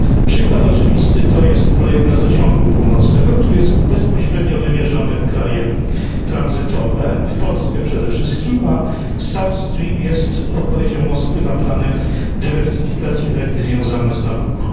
Przykładem oczywistym jest projekt Gazociągu Północnego, który jest bezpośrednio wymierzony w kraje tranzytowe, w Polskę przede wszystkim, a South Stream jest odpowiedzią Moskwy na plany dywersyfikacji energii związane z Nabucco.